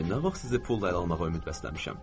Nə vaxt sizi pulla ələ almağa ümid bəsləmişəm?